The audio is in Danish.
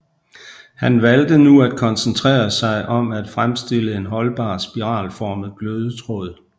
Han valgte nu at koncentrere sig om at fremstille en holdbar spiralformet glødetråd